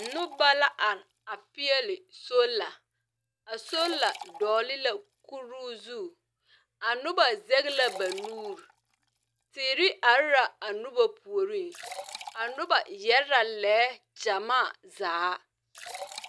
Nuba la arẽ a peɛle sola a sola doɔle la kuru zu a nuba zege la ba nuuri teɛre arẽ la a nuba poɔring a nuba yere la leɛ jamaa zaa.